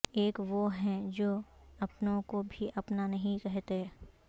ایک وہ ہیں جو اپنوں کو بھی اپنا نہیں کہتے